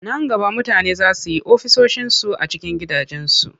Nan gaba mutane za su yi ofisoshinsu a cikin gidansu.